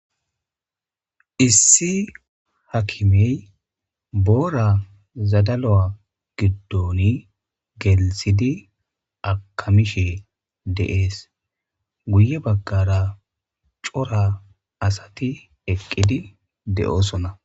Issi hakimey boora zadalo'a giddon gelisidi akamishe deees guye baggara cora asati eqqidi de'oosona.